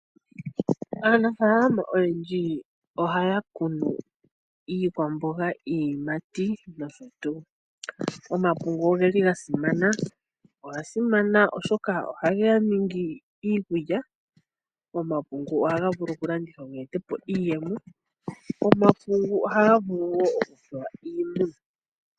Aanafalama oyendji ohaya kunu iikwamboga, iiyimati nosho tuu. Omapungu ogeli ga simana. Oga simana oshoka ohaga ningi iikulya. Omapungu ohaga vulu okulandithwa ga ete po iiyemo. Omapungu ohaga vulu wo okupewa iimuna.